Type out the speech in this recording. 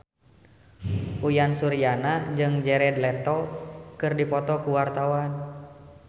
Uyan Suryana jeung Jared Leto keur dipoto ku wartawan